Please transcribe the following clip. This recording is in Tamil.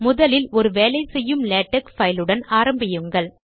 முதலில் ஒரு வேலை செய்யும் லேடக் பைலுடன் ஆரம்பியுங்கள்